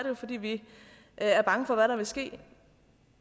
jo fordi vi er bange for hvad der vil ske